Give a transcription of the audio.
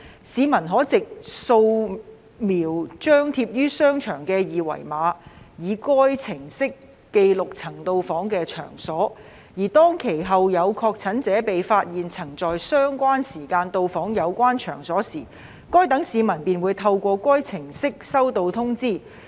市民可藉掃描張貼於場所的二維碼以該程式記錄曾到訪的場所，而當其後有確診者被發現曾在相關時間到訪有關場所時，該等市民便會透過該程式收到通知。